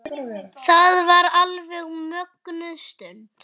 Þetta var alveg mögnuð stund.